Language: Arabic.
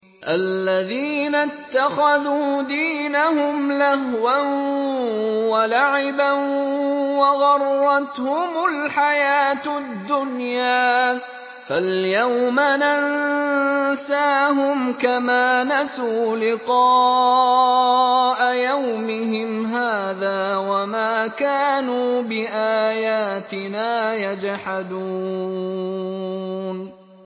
الَّذِينَ اتَّخَذُوا دِينَهُمْ لَهْوًا وَلَعِبًا وَغَرَّتْهُمُ الْحَيَاةُ الدُّنْيَا ۚ فَالْيَوْمَ نَنسَاهُمْ كَمَا نَسُوا لِقَاءَ يَوْمِهِمْ هَٰذَا وَمَا كَانُوا بِآيَاتِنَا يَجْحَدُونَ